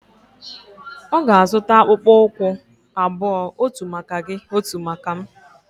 Ọ ga-azụta akpụkpọ ụkwụ abụọ. otu maka gị, otu maka m